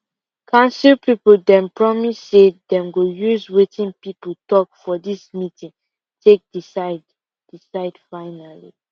council people dem promise say dem go use wetin people talk for this meeting take decide decide finally